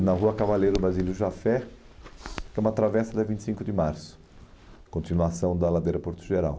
na Rua Cavaleiro Basílio Jafé, que é uma travessa da vinte e cinco de março, continuação da ladeira Porto Geral.